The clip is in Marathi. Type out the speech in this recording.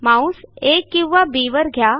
माऊस आ किंवा बी वर न्या